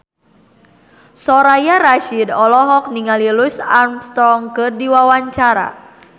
Soraya Rasyid olohok ningali Louis Armstrong keur diwawancara